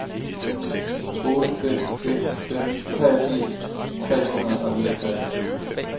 otte fem seks fem treogfirs tre hundrede og niogtres